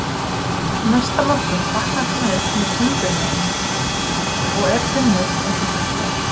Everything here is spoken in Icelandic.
Næsta morgun vaknar hann upp með timburmenn og er þunnur eins og sagt er.